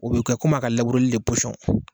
O bɛ kɛ komi a ka labureli de